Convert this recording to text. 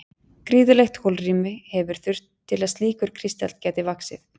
gríðarlegt holrými hefur þurft til að slíkur kristall gæti vaxið